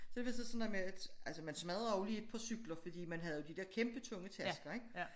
Så det var så sådan noget med at altså man smadrer jo lige et par cykler fordi man havde jo de dér kæmpe tunge tasker ik